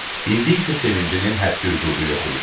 İndi isə sevincinin həddi-hüdudu yox idi.